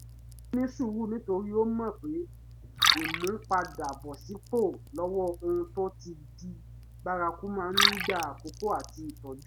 ó ní sùúrù nítorí ó mọ̀ pé ìmúpadàbọ̀sípò lọ́wọ́ ohun tó ti di bárakú máa ń gba àkókò àti ìtọ́jú